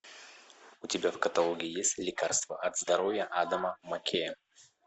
у тебя в каталоге есть лекарство от здоровья адама маккея